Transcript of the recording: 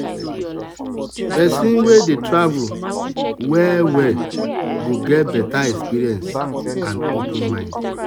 person wey dey travel well go get better experience and open mind.